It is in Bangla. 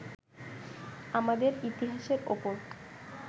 আমাদের ইতিহাসের ওপর